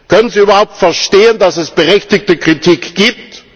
Können Sie überhaupt verstehen, dass es berechtigte Kritik gibt?